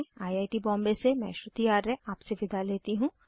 I I T Bombay से मैं श्रुति आर्य आपसे विदा लेती हूँ